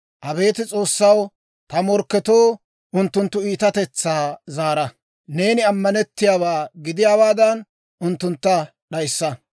Abeet S'oossaw, ta morkketoo unttunttu iitatetsaa zaara. Neeni ammanettiyaawaa gidiyaawaadan, unttuntta d'ayissa.